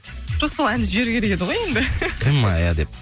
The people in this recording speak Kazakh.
жоқ сол әнді жіберу керек еді ғой енді ты моя деп